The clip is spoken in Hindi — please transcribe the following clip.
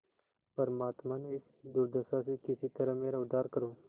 परमात्मन इस दुर्दशा से किसी तरह मेरा उद्धार करो